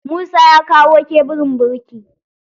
Musa ya kawo kebulin birki.